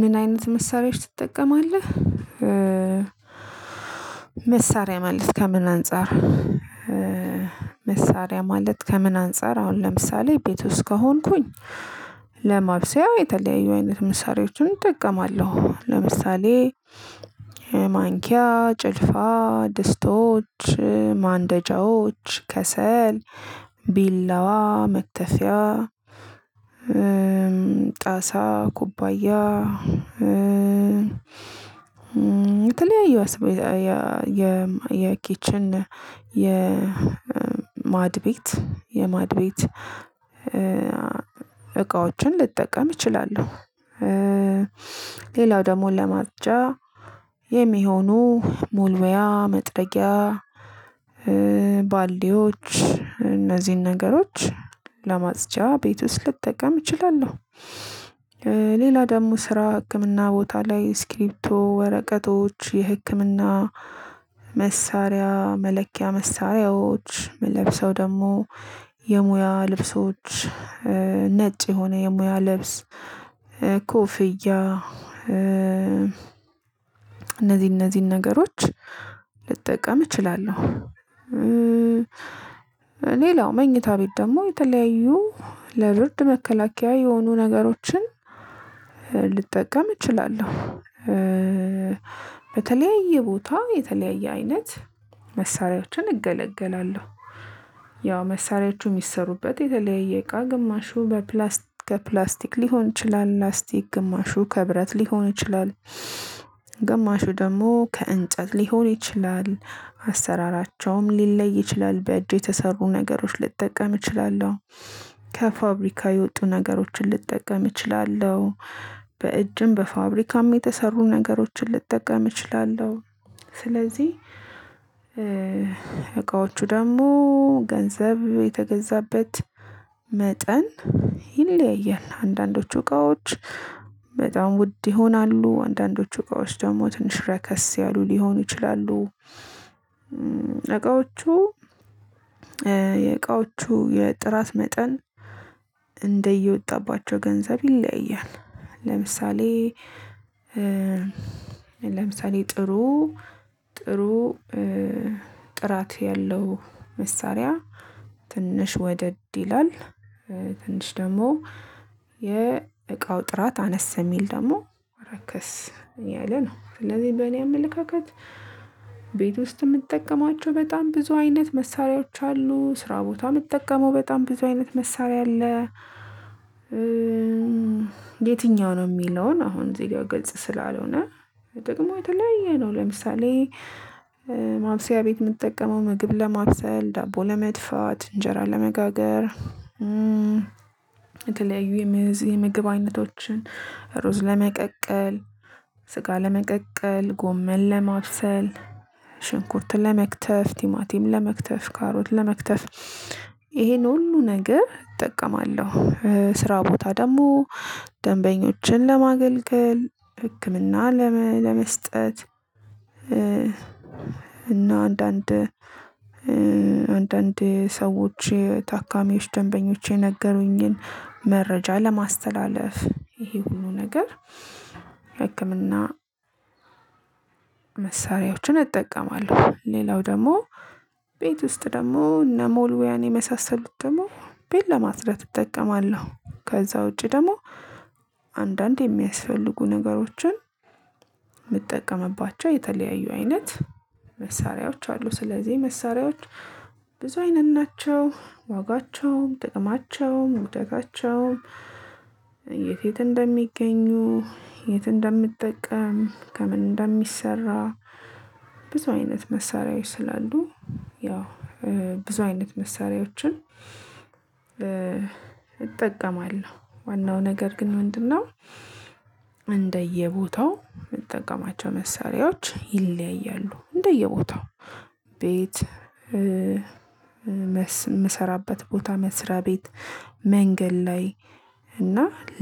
ምን አይነት መሳሪያዎች ትጠቀማለህ? መሳሪያ ማለት ከምን አንፃር? መሳሪያ ማለት ከምን አንፃር አሁን ለምሳሌ ቤት ውስጥ ከሆንኩኝ ለማብሰያው የተለያዩ አይነት መሳሪያዎችን እጠቀማለሁ ለምሳሌ ማንኪያ ጭልፋ ድስቶች ማንደጃዎች ከሰል ቢላዋ መክፊያ ጣሳ ኩባያ የተለያየ የዋስብ የኪችን የማድ ቤት የማድቤት እቃዎችን ልጠቀም እችላለሁ። ሌላው ደግሞ ለማፅጃ የሚሆኑ መወልወያ መጥረጊያ ባልዲዎች እነዚህን ነገሮች ለማጽጃ ቤት ውስጥ ልትጠቀም እችላለሁ። ሌላ ደግሞ ስራ ህክምና ቦታ ላይ እስክሪብቶ ወረቀቶች የህክምና መሳሪያ መለኪያ መሳሪያዎች መለብሰው ደግሞ የሙያ ልብሶች ነጭ የሆነ የሙያ ልብስ ኮፍያ እነዚህ እነዚህን ነገሮች ልጠቀም እችላለሁ። ሌላው መኝታ ቤት ደግሞ የተለያዩ ለብርድ መከላከያ የሆኑ ነገሮችን ልጠቀም እችላለሁ። በተለያየ ቦታ የተለያየ አይነት መሳሪያችን እገለገላለሁ። ያው መሳሪያዎቹ የሚሰሩበት የተለያየ እቃ ግማሹ በፕላስቲክ ሊሆን ይችላል ላስቲክ ግማሹ ከብረት ሊሆን ይችላል። ግማሹ ደግሞ ከእንጨት ሊሆን ይችላል አሰራራቸውም ሊለይ ይችላል በእጅ የተሰሩ ነገሮችን ልጠቀም እችላለሁ። ከፋብሪካ የወጡ ነገሮችን ልጠቀም እችላለሁ። በእጅም በፋብሪካም የተሰሩ ነገሮችን ልጠቀም እችላለሁ። ስለዚህ እቃዎቹ ደግሞ ገንዘብ የተገዛበት መጠን ይለያያል አንዳንዶቹ እቃዎች በጣም ውድ ይሆናሉ አንዳንዶቹ እቃዎች ደግሞ ትንሽ ረከስ ያሉ ሊሆኑ ይችላሉ። እቃዎቹ የእቃዎቹ የጥራት መጠን እንደየወጣባቸው ገንዘብ ይለያል። ለምሳሌ ለምሳሌ ጥሩ ጥሩ ጥራት ያለው መሳሪያ ትንሽ ወደድ ይላል። ትንሽ ደግሞ የእቃው ጥራት አነስ የሚል ደግሞ ረከስ ያለ ነው። ስለዚህ በእኔ አመለካከት ቤት ውስጥ የምጠቀማቸው በጣም ብዙ አይነት መሳሪያዎች አሉ። ስራ ቦታ የምትጠቀመው በጣም ብዙ አይነት መሳሪያ አለ። የትኛው ነው የሚለውን አሁን እዚህ ጋር ገጽ ስላልሆነ ደግሞ የተለያየ ነው። ለምሳሌ ማብሰያ ቤት የምትጠቀመው ምግብ ለማብሰል ዳቦ ለመድፋት እንጀራ ለመጋገር የተለያዩ የምግብ አይነቶችን ሩዝ ለመቀቀል ስጋ ለመቀቀል ጎመል ለማብሰል ሽንኩርት ለመክተፍ ቲማቲም ለመክተፍ ካሮት ለመክተፍ ይሄን ሁሉ ነገር እጠቀማለሁ። ስራ ቦታ ደግሞ ደንበኞችን ለማገልገል ህክምና ለመስጠት እና አንዳንድ አንዳንድ ሰዎች ታካሚዎች ደንበኞች የነገሩኝን መረጃ ለማስተላለፍ ይሄ ሁሉ ነገር በህክምና መሳሪያዎችን እጠቀማለሁ። ሌላው ደግሞ ቤት ውስጥ ደግሞ እነ መወልወያን የመሳሰሉት ደግሞ ቤት ለማጽዳት እጠቀማለሁ። ከዛ ውጪ ደግሞ አንዳንዴ የሚያስፈልጉ ነገሮችን የምጠቀምባቸው የተለያዩ አይነት መሳሪያዎች አሉ። ስለዚህ መሳሪያዎች ብዙ አይነት ናቸው። ዋጋቸውም ጥቅማቸውም ውደታቸውም የት የት እንደሚገኙ የት እንደምጠቀም ከምን እንደሚሰራ ብዙ አይነት መሳሪያዎች ስላሉ ያው ብዙ አይነት መሳሪያዎችን እጠቀማለሁ። ዋናው ነገር ግን ምንድነው? እንደየቦታው የምትጠቀማቸው መሳሪያዎች ይለያያሉ እንደየቦታው ቤት የምሰራበት ቦታ መስሪያ ቤት መንገድ ላይ እና